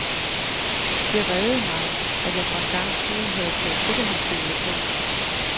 Det reddede mig, at jeg for en gangs skyld havde taget sikkerhedssele på.